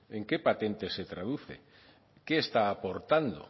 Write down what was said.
en qué patentes se traduce qué está aportando